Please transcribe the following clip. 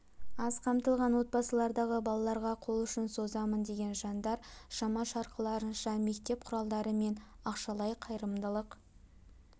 аз қамтылған отбасылардағы балаларға қол ұшын созамын деген жандар шама-шарқыларынша мектеп құралдары мен ақшалай қайырымдылық